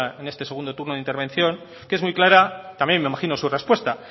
en este segundo turno de intervención que es muy clara también me imagino su respuesta